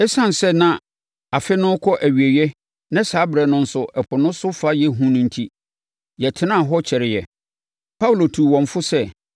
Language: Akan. Esiane sɛ na afe no rekɔ nʼawieeɛ na saa ɛberɛ no nso ɛpo no so fa yɛ hu no enti, yɛtenaa hɔ kyɛreeɛ. Paulo tuu wɔn fo sɛ,